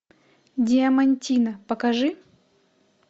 диамантино покажи